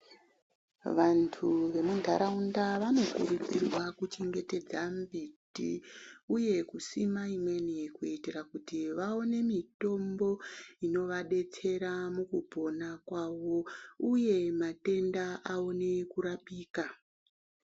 Vantu vemuntaraunda vanokurudzirwa kuchengetedza mbiti uye kusima imweni kuitira kuti vaone mitombo inovadetsera mukupona kwavo uye matenda aone kurapika.